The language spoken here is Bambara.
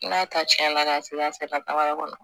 N'a ta cɛn na k'a seran sera taga yɔrɔ ma